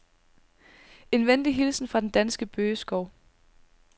En venlig hilsen fra den danske bøgeskov.